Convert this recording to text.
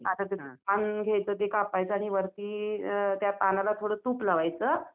आता ते पान घ्यायचं ते कापायचं आणि वरती त्या पानाला थोडं तूप लावायचं.